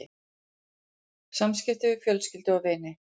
SAMSKIPTI VIÐ FJÖLSKYLDU OG VINI